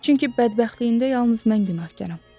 Çünki bədbəxtliyində yalnız mən günahkaram.